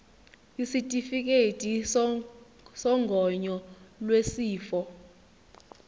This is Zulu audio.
isitifikedi sogonyo lwesifo